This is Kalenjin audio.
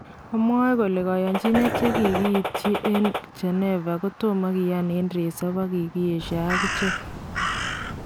Amwae kole kayanchinet chekikiityi en Geneva kotomoo kiyaan en resoop ak kikiyeshaa akichek